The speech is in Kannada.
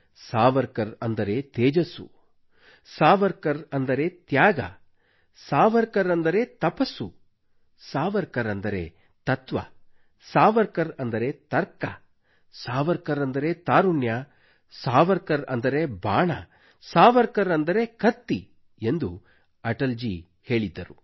ಸಾವರ್ಕರ್ ಅಂದರೆ ತೇಜಸ್ಸು ಸಾವರ್ಕರ್ ಅಂದರೆ ತ್ಯಾಗ ಸಾವರ್ಕರ್ ಅಂದರೆ ತಪಸ್ಸು ಸಾವರ್ಕರ್ ಅಂದರೆ ತತ್ವ ಸಾವರ್ಕರ್ ಅಂದರೆ ತರ್ಕ ಸಾವರ್ಕರ್ ಅಂದರೆ ತಾರುಣ್ಯ ಸಾವರ್ಕರ್ ಅಂದರೆ ಬಾಣ ಸಾವರ್ಕರ್ ಅಂದರೆ ಕತ್ತಿ ಎಂದು ಅಟಲ್ ಜೀ ಯವರು ಹೇಳಿದ್ದರು